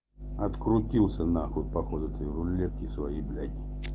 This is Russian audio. открутился нахуй походу твои рулетки своей блядь